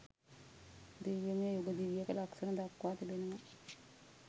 දිව්‍යමය යුග දිවියක ලක්‍ෂණ දක්වා තිබෙනවා